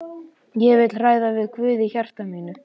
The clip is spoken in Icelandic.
Ég vil ræða við Guð í hjarta mínu.